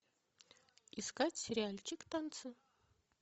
искать сериальчик танцы